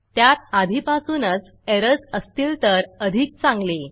त्यात आधीपासूनच एरर्स असतील तर अधिक चांगले